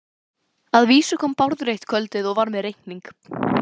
Að vísu kom Bárður eitt kvöldið og var með reikning.